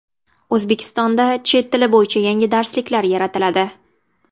O‘zbekistonda chet tili bo‘yicha yangi darsliklar yaratiladi.